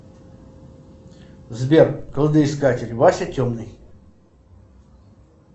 сбер кладоискатель вася темный